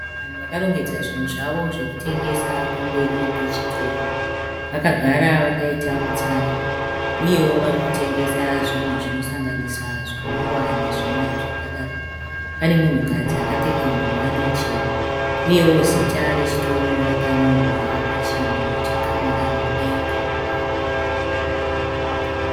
Vanhu vakarongedza zvinhu zvavo zvekutengesa pamberi pechitoro. Vakagara vakaita mutsara. Uye wo varikutengesa zvinhu zvinosanganisa zvinwiwa nezvimwe zvakadaro. Pane munhu kadzi akapfeka nguwani chena. Uyewo zita rechitoro rakanyorwa pachinhu chakamira mudenga.